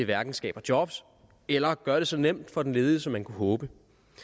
hverken skaber job eller gør det så nemt for den ledige som man kunne håbe